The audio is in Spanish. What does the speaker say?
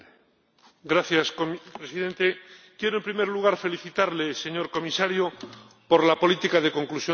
Señor Presidente quiero en primer lugar felicitarle, señor Comisario, por la política de conclusión de acuerdos pesqueros.